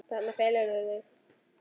Þarna felurðu þig!